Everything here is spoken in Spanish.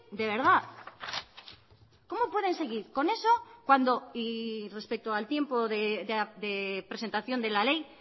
de verdad cómo pueden seguir con eso cuando y respecto al tiempo de presentación de la ley